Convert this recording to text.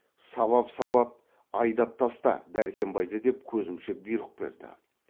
сабап сабап айдап таста дәркембайды деп көзімше бұйрық берді